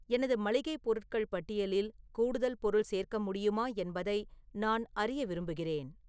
எனது மளிகை பொருட்கள் பட்டியலில் கூடுதல் பொருள் சேர்க்க முடியுமா என்பதை நான் அறிய விரும்புகிறேன்